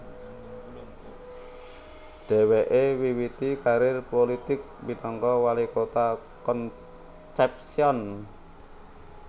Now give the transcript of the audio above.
Dheweke miwiti karir pulitik minangka wali kota Concepcion